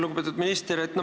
Lugupeetud minister!